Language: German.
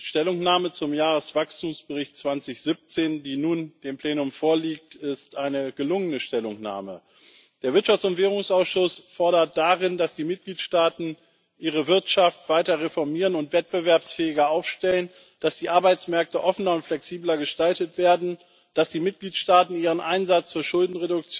Die Stellungnahme zum Jahreswachstumsbericht 2017, die nun dem Plenum vorliegt ist, eine gelungene Stellungnahme. Der Wirtschafts und Währungsausschuss fordert darin, dass die Mitgliedstaaten ihre Wirtschaft weiter reformieren und wettbewerbsfähiger aufstellen, dass die Arbeitsmärkte offener und flexibler gestaltet werden, dass die Mitgliedstaaten ihren Einsatz zur Schulden